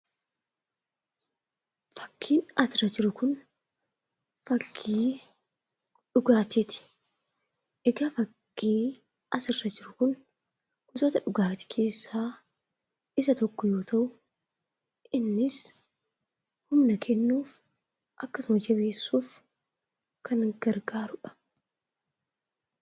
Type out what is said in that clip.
Fakkiin asirra jiru kun fakkii dhugaatii ti. Egaa fakkii asirra jiru kun gosoota dhugaatii keessaa isa tokko yoo ta'u, innis humna kennuuf akkasuma jabeessuuf kan gargaaru dha.